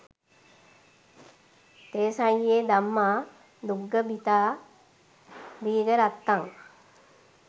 තෙසං යෙ ධම්මා දුග්ගහීතා දීඝරත්තං